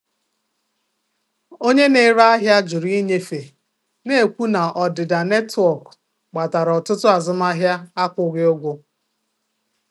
Onye na-ere ahịa jụrụ ịnyefe, na-ekwu na ọdịda netwọk kpatara ọtụtụ azụmahịa akwụghị ụgwọ.